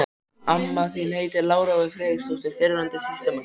Amma þín heitir Lára og er Friðriksdóttir, fyrrverandi sýslumanns.